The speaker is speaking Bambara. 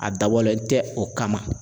A dabɔlen tɛ o kama.